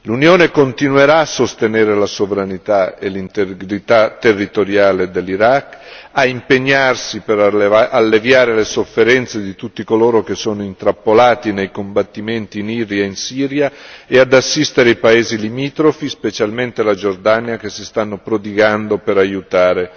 L'Unione continuerà a sostenere la sovranità e l'integrità territoriale dell'Iraq, a impegnarsi per alleviare le sofferenze di tutti coloro che sono intrappolati nei combattimenti in Iraq e in Siria e ad assistere i paesi limitrofi, specialmente la Giordania, che si stanno prodigando per aiutare